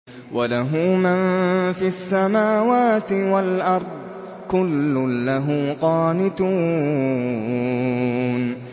وَلَهُ مَن فِي السَّمَاوَاتِ وَالْأَرْضِ ۖ كُلٌّ لَّهُ قَانِتُونَ